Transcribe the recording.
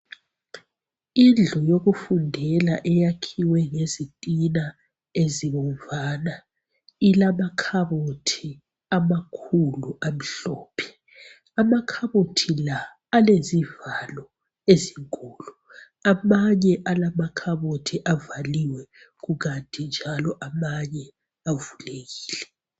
Indlu yokufundela eyakhiwe ngezitina ezibomvana ilama khabothi amakhulu amhlophe, amakhabothi la alezivalo ezinkulu amanye alamakhabothi avaliwe kukanti njalo amanye avulekile.